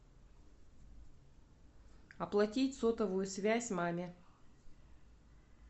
оплатить сотовую связь маме